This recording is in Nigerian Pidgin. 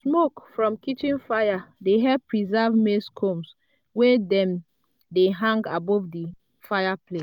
smoke from kitchen fire dey help preserve maize combs wey dem hang above the fireplace.